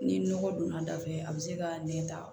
Ni nɔgɔ donna da fɛ a bɛ se ka nɛ ta